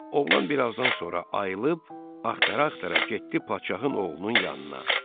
Oğlan bir azdan sonra ayılib axtara-axtara getdi Padşahın oğlunun yanına.